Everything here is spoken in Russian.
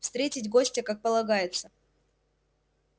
встретить гостя как полагается